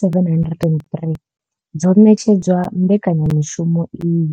703 dzo ṋetshedzwa mbekanya mushumo iyi.